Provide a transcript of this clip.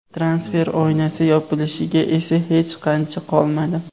Transfer oynasi yopilishiga esa hech qancha qolmadi.